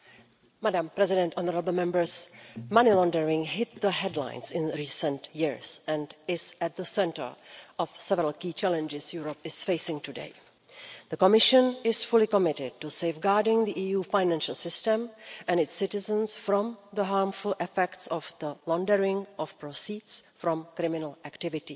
Madam President, money laundering hit the headlines in recent years and is at the centre of several key challenges Europe is facing today. The Commission is fully committed to safeguarding the EU financial system and its citizens from the harmful effects of the laundering of proceeds from criminal activities.